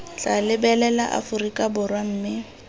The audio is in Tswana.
tla lebelela aforika borwa mme